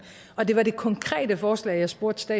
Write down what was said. og det var det konkrete forslag jeg spurgte